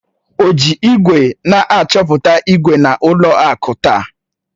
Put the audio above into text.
O ji igwe na-achọpụta ígwè na ụlọ akụ taa?